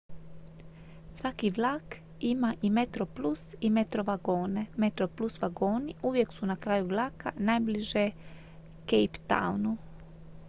svaki vlak ima i metroplus i metro vagone metroplus vagoni uvijek su na kraju vlaka najbliže cape townu